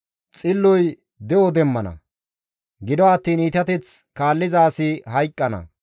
Xilloy de7o demmana; gido attiin iitateth kaalliza asi hayqqana.